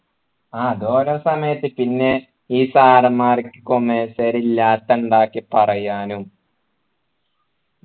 ആഹ് അത് ഓരോ സമയത്ത് പിന്നെ ഈ sir മ്മാര് commerce കാരെ ഇല്ലാത്തത് ഉണ്ടാക്കി പറയാനും